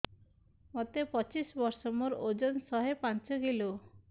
ମୋତେ ପଚିଶି ବର୍ଷ ମୋର ଓଜନ ଶହେ ପାଞ୍ଚ କିଲୋ